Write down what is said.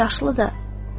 Atabəy isə yaşlıdır.